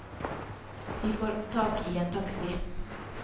Vi får tak i en taxi.